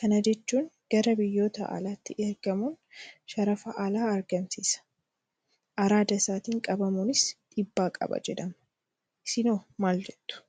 Kana jechuun gara biyyoota alaatti ergamuun sharafa alaa argamsiisa. Araada isaatiin qabamuunis dhiibbaa qaba jedhama. Isinoo maaljettu?